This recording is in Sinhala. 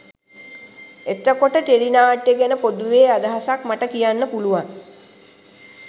එතකොට ටෙලි නාට්‍ය ගැන පොදුවේ අදහසක් මට කියන්න පුළුවන්